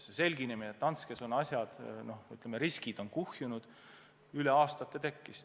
Teadmine, et Danskes on asjad halvad, riskid on kuhjunud, tekkis mitme aasta jooksul.